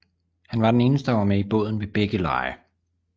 Han var den eneste der var med i båden ved begge lege